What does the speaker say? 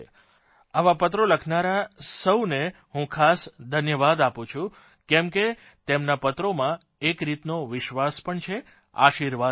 આવા પત્રો લખનારા સૌને હું ખાસ ધન્યવાદ આપું છું કેમ કે તેમના પત્રોમાં એક રીતનો વિશ્વાસ પણ છે આશીર્વાદ પણ છે